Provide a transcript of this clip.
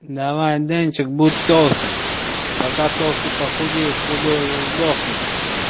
давай денчик будь толстым пока толстый похудеет худой уже сдохнет